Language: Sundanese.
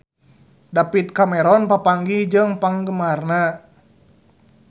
David Cameron papanggih jeung penggemarna